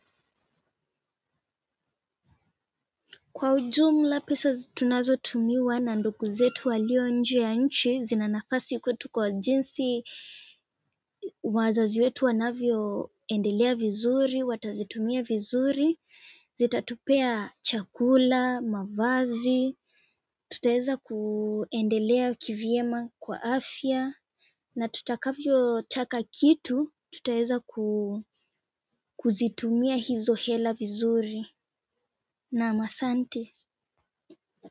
Kwa ujumla pesa tunazo tumiwa na ndugu zetu walio nje ya nchi zinanafasi kwetu kwa jinsi wazazi wetu wanavyo endelea vizuri watazitumia vizuri zitatupea chakula mavazi. Tutaeza kuendelea kivyema kwa afya na tutakavyo taka kitu tutaweza kuzitumia hizo hela vizuri. Naam asanti.